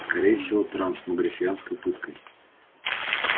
скорее всего трансмогрифианской пыткой